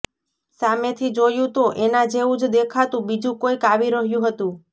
સામેથી જોયું તો એના જેવું જ દેખાતું બીજું કોઈક આવી રહ્યું હતું